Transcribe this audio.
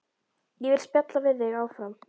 Ég vil spjalla við þig áfram.